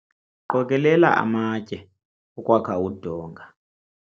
qokelela amatye okwakha udonga